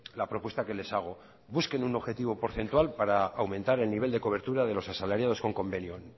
la propuesta que les hago busquen un objetivo porcentual para aumentar el nivel de cobertura de los asalariados con convenio